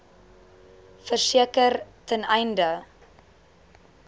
verseker ten einde